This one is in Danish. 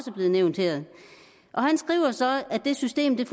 blevet nævnt her han skriver så at det system